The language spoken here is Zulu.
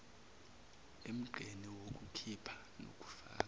emgqeni wokukhipha nokufaka